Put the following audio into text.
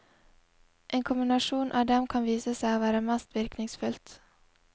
En kombinasjon av dem kan vise seg å være mest virkningsfullt.